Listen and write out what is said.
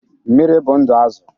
Mmiri bụ ndụ Azụ.